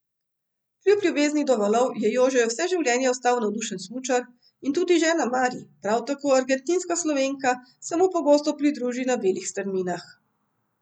Kljub ljubezni do valov je Jože vse življenje ostal navdušen smučar, in tudi žena Mari, prav tako argentinska Slovenka, se mu pogosto pridruži na belih strminah.